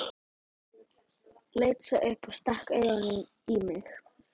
Leit svo upp og stakk augunum í mig.